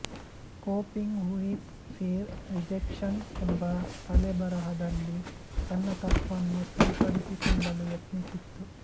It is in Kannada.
ಕೋಪಿಂಗ್ ಉಯಿತ್ ಪೀರ್ ರಿಜೆಕ್ಷನ್ ಎಂಬ ತಲೆಬರಹದಲ್ಲಿ ತನ್ನ ತಪ್ಪನ್ನು ಸರಿಪಡಿಸಿಕೊಳ್ಳಲು ಯತ್ನಿಸಿತ್ತು